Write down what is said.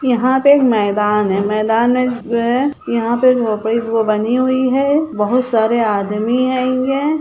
यहाँ पे एक मैदान है मैदान में जो है यहाँ पे बनी हुई है बहुत सारे आदमी हैंगे।